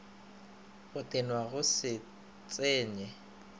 go tenwa go se tsenye